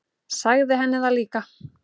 Sagði henni það líka.